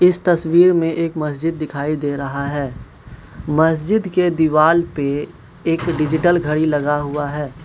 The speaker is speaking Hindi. इस तसवीर में एक मस्जिद दिखाई दे रहा है मस्जिद के दीवाल पे एक डिजिटल घड़ी लगा हुआ है।